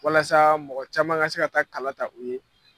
Walasa mɔgɔ caman ka se ka taa kala ta u ye.